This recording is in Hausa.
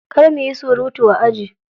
Kar muyi surutu a aji.